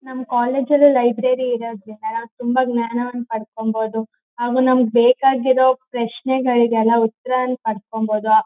ನಮ್ಮ್ ಕಾಲೇಜ್ ಅಲ್ಲು ಲೈಬ್ರರಿ ಇರೋದ್ರಿಂದ ನಾವ್ ತುಂಬಾ ಜ್ಞಾನವನ್ ಪಡ್ಕೊಂಬೋದು ಆಗ ನಮಗೆ ಬೇಕಾಗಿರೋ ಪ್ರಶ್ನೆಗಳಿಗೆಲ್ಲ ಉತ್ತರನ ಪಡ್ಕೊಂಬೋದು.